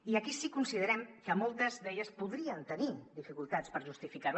i aquí si que considerem que moltes d’elles podrien tenir dificultats per justificar ho